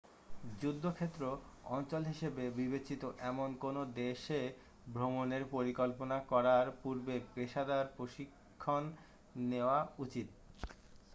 যুদ্ধক্ষেত্র অঞ্চল হিসাবে বিবেচিত এমন কোন দেশে ভ্রমণের পরিকল্পনা করার পুর্বে পেশাদার প্রশিক্ষণ নেয়া উচিৎ